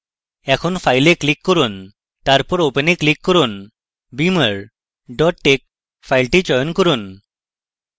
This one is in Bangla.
এখন file এ click করুন তারপর open এ click করুন beamer tex file চয়ন করুন